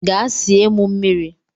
Gaa sie m mmiri!